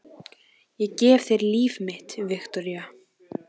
Ég gef þér líf mitt, Viktoría.